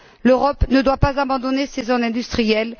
L'Europe ne doit pas abandonner ses zones industrielles.